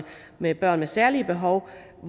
med børn med særlige behov